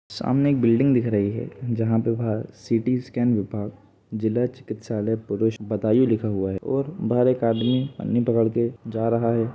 सामने एक बिल्डिंग दिख रही है जहां पे बाहर सी_टी स्कैन विभाग जिला चिकित्सालय पुरुष बदायूं लिखा हुआ है और बाहर एक आदमी पन्नी पकड़ के जा रहा है ।